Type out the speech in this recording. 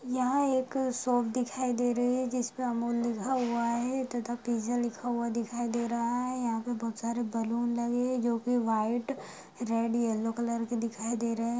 यहाँ एक शॉप दिखाई दे रही है जिस पे अमूल लिखा हुआ है तथा पिज्जा लिखा हुआ दिखाई दे रहा है यहाँ पे बहोत सारे बलून लगे हुए है जो की व्हाइट रेड येलो कलर के दिखाई दे रहे है।